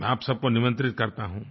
मैं आप सबको निमंत्रित करता हूँ